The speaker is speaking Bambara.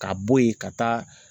Ka bɔ yen ka taa